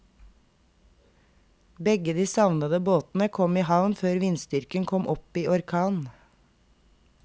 Begge de savnede båtene kom i havn før vindstyrken kom opp i orkan.